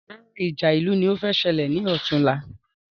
Rárá ìjà ìlú ní o fẹ́ ṣẹlẹ̀ ni ọ̀túnla